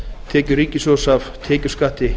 tekjur ríkissjóðs af tekjuskatti